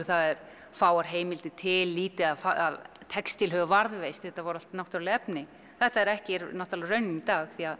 það eru fáar heimildir til lítið af textíl hefur varðveist þetta voru allt náttúrulegt efni þetta er ekki raunin í dag því að